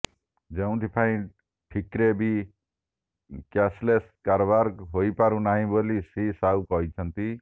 ଯେଉଁଥିପାଇଁ ଠିକ୍ରେ ବି କ୍ୟାସଲେସ୍ କାରବାର ହୋଇପାରୁନାହିଁ ବୋଲି ଶ୍ରୀ ସାହୁ କହିଛନ୍ତି